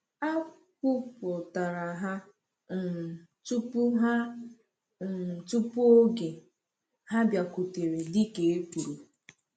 A kwupụtara ha um tupu ha um tupu oge, ha bịakwutere dịka e kwuru.